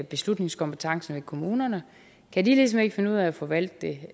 beslutningskompetencen i kommunerne kan de ligesom ikke finde ud af at forvalte det